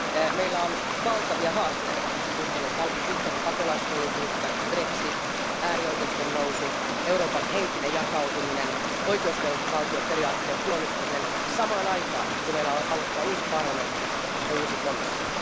Meillä on valtavia haasteita yhteinen pakolaispolitiikka, brexit, äärioikeiston nousu, Euroopan henkinen jakautuminen, oikeusvaltioperiaatteen puolustaminen samaan aikaan kun meillä aloittaa uusi parlamentti ja uusi komissio.